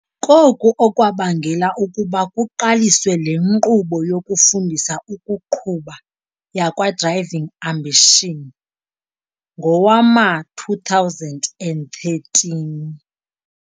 Koku okwabangela ukuba kuqaliswe le nkqubo yokufundisa ukuqhuba yakwa-Driving Ambition ngowama-2013.